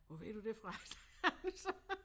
Hvor ved du det fra sagde han så